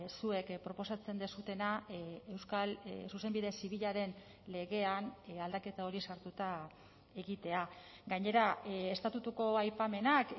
zuek proposatzen duzuena euskal zuzenbide zibilaren legean aldaketa hori sartuta egitea gainera estatutuko aipamenak